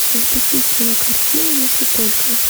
запусти кинокартину если только